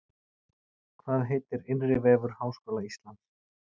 Hvað heitir innri vefur Háskóla Íslands?